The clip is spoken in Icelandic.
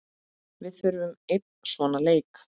Við þurfum einn svona leik.